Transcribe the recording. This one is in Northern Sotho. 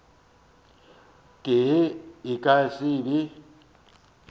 tee e ka se be